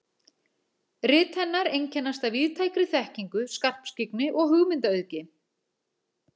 Rit hennar einkennast af víðtækri þekkingu, skarpskyggni og hugmyndaauðgi.